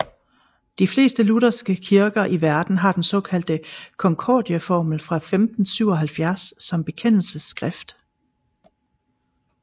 De fleste lutherske kirker i verden har den såkaldte Konkordieformel fra 1577 som bekendelsesskrift